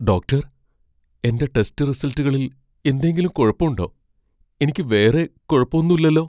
Doctor, എന്റെ test റിസൽറ്റുകളിൽ എന്തേലും കുഴപ്പൊണ്ടോ ?എനിക്ക് വേറെ കുഴപ്പൊന്നുല്ലലോ ?